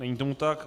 Není tomu tak.